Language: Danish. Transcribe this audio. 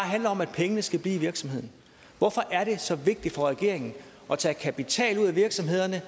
om at pengene skal blive i virksomheden hvorfor er det så vigtigt for regeringen at tage kapital ud af virksomhederne